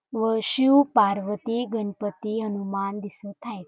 व शिव-पार्वती गणपती हनुमान दिसत हायेत.